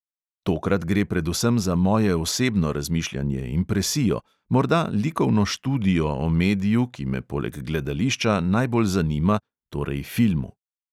Tokrat gre predvsem za moje osebno razmišljanje, impresijo, morda likovno študijo o mediju, ki me poleg gledališča najbolj zanima, torej filmu.